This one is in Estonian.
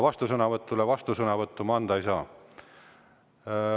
Vastusõnavõtu peale ma vastusõnavõttu anda ei saa.